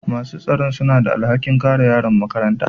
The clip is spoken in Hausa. masu tsaro suna da alhakin tsare yaran makaranta